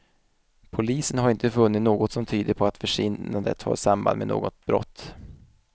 Polisen har inte funnit något som tyder på att försvinnandet har samband med något brott.